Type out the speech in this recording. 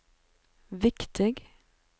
viktig